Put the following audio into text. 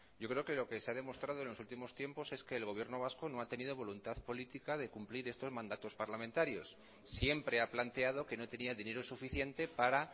yo creo que lo que se ha demostrado en los últimos tiempos es que el gobierno vasco no ha tenido voluntad política de cumplir estos mandatos parlamentarios siempre ha planteado que no tenía dinero suficiente para